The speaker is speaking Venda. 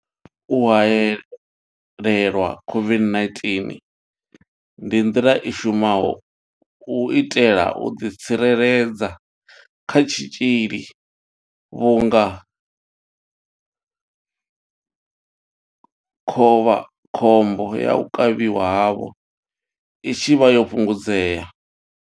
U haelelwa COVID-19 ndi nḓila i shumaho u itela u ḓi tsireledza kha tshitzhili vhunga khovhakhombo ya u kavhiwa havho i tshi vha yo fhungudzea.